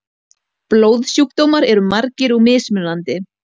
Blóðsjúkdómar eru margir og mismunandi.